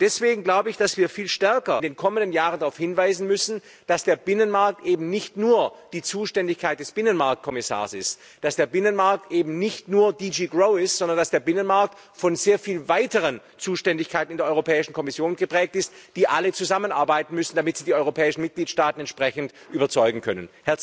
Deswegen glaube ich, dass wir in den kommenden Jahren viel stärker darauf hinweisen müssen, dass der Binnenmarkt eben nicht nur die Zuständigkeit des Binnenmarktkommissars ist, dass der Binnenmarkt eben nicht nur GD GROW ist, sondern dass der Binnenmarkt von sehr vielen weiteren Zuständigkeiten in der Europäischen Kommission geprägt ist, die alle zusammenarbeiten müssen, damit sie die europäischen Mitgliedstaaten entsprechend überzeugen können.